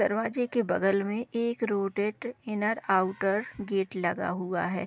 दरवाजे के बगल में एक रोटेट इनर आउटर गेट लगा हुआ है।